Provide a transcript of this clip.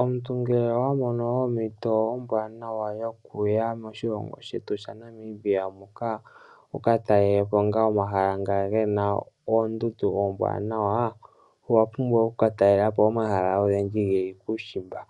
Omuntu ngele owa mono ompito ombwaanawa yoku ya moshilongo shetu shaNamibia muka, wu ka talela po ngaa omahala nga ge na oondundu oombwaanawa, owa pumbwa wu ka talele po omahala ogendji ge li kuushimba.